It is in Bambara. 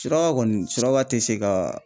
Suraka kɔni suraba tɛ se ka